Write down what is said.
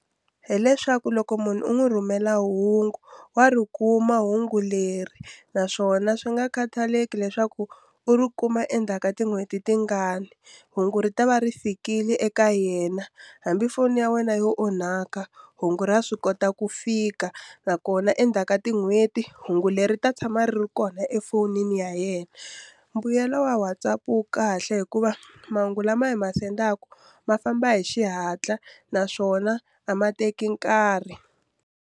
Hi leswaku loko munhu u n'wi rhumela hungu wa ri kuma hungu leri naswona swi nga khataleki leswaku u ri kuma endzhaku ka tin'hweti tingani hungu ri ta va ri fikile eka yena hambi foni ya wena yo onhaka hungu ra swi kota ku fika nakona endzhaku ka tin'hweti hungu leri ta tshama ri ri kona efonini ya yena mbuyelo wa WhatsApp wo kahle hikuva mahungu lama hi ma sendaka ma famba hi xihatla naswona a ma teki nkarhi.